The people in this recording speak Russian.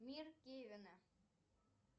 мир кевина